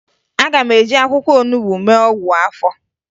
Aga m eji akwụkwọ olubo mee ọgwụ afọ